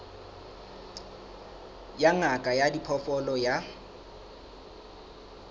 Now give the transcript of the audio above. ya ngaka ya diphoofolo ya